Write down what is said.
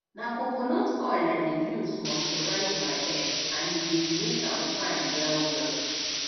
na coconut oil i dey use moisturize my hair and e dey make am fine wellwell